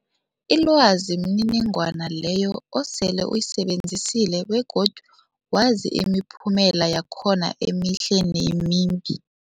Ilwazi mniningwana leyo osele uyisebenzisile begodu wazi imiphumela yakhona emihle nemimbi.